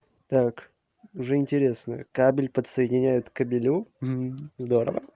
так уже интересно кабель подсоединяют к кабелю здорово